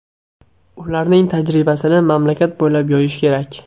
Ularning tajribasini mamlakat bo‘ylab yoyish kerak.